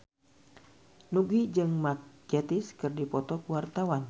Nugie jeung Mark Gatiss keur dipoto ku wartawan